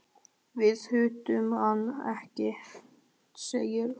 Við hittum hann ekki sagði Örn.